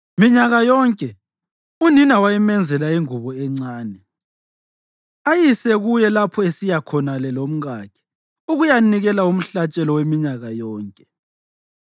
Minyaka yonke unina wayemenzela ingubo encane ayise kuye lapho esiya khonale lomkakhe ukuyanikela umhlatshelo weminyaka yonke.